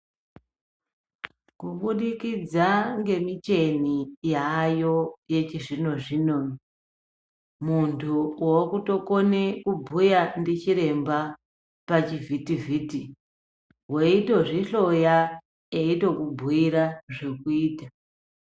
Kubudikidza nemichini yayo yechizvino zvino muntu akutokona kubhuya ndichiremba pachivhiti vhiti weitozvihloya veitokubhuira zvekuita.